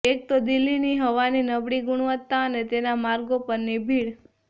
એક તો દિલ્હીની હવાની નબળી ગુણવત્તા અને તેના માર્ગો પરની ભીડ